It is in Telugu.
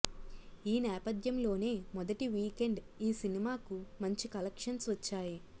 ఈ నేపథ్యంలోనే మొదటి వీకెండ్ ఈ సినిమాకు మంచి కలెక్షన్స్ వచ్చాయి